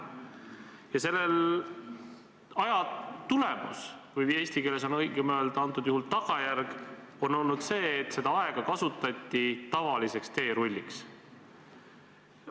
Ja selle tulemus või eesti keeles on praegu õigem öelda tagajärg on olnud see, et seda aega kasutati tavaliseks teerulliks.